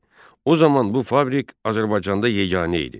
O zaman bu fabrik Azərbaycanda yeganə idi.